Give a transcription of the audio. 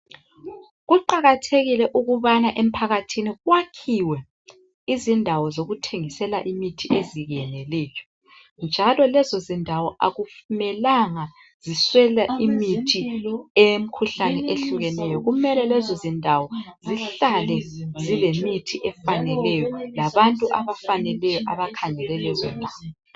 Kuqakathekile ukubana emphakathini kwakhiwe izindawo zokuthengisela imithi ezeneleyo njalo lezindawo akumelanga ziswele imithi eyemkhuhlane eyehlukeneyo. Kumele lezindawo zihlale zilemithi efaneleyo labantu abafaneleyo abakhangele lezindawo